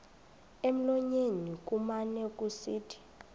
emlonyeni kumane kusithi